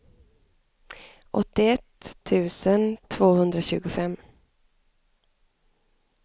åttioett tusen tvåhundratjugofem